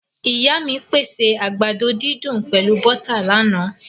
Ìyá mí pèsè àgbàdo didùn pẹlu bọ́tà láána